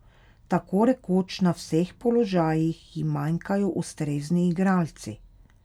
Tako rekoč na vseh položajih ji manjkajo ustrezni igralci.